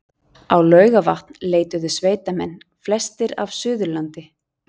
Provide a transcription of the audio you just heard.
Á Laugarvatn leituðu sveitamenn, flestir af Suðurlandi